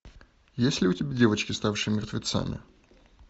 есть ли у тебя девочки ставшие мертвецами